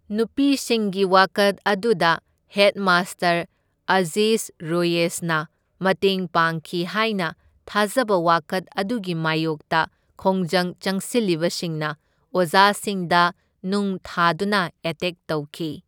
ꯅꯨꯄꯤꯁꯤꯡꯒꯤ ꯋꯥꯀꯠ ꯑꯗꯨꯗ ꯍꯦꯗꯃꯥꯁꯇꯔ ꯑꯖꯤꯖ ꯔꯣꯌꯦꯁꯅ ꯃꯇꯦꯡ ꯄꯥꯡꯈꯤ ꯍꯥꯢꯅ ꯊꯥꯖꯕ ꯋꯥꯀꯠ ꯑꯗꯨꯒꯤ ꯃꯥꯢꯌꯣꯛꯇ ꯈꯣꯡꯖꯪ ꯆꯪꯁꯤꯜꯂꯤꯕꯁꯤꯡꯅ ꯑꯣꯖꯥꯁꯤꯡꯗ ꯅꯨꯡ ꯊꯥꯗꯨꯅ ꯑꯦꯇꯦꯛ ꯇꯧꯈꯤ꯫